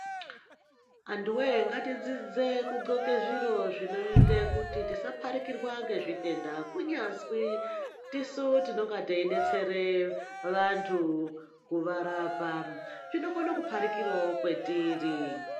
Antu voye ngaridzidze kudhloke zviro zvinoite kuti tisaparikirwa ngezvitenda. Kunyazwi tisu tinenga teibetsere vantu kuvarapa chinokona kuparikiravo kwatiri.